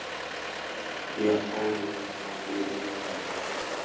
Ó, Helena mín, má ég kalla þig mömmu?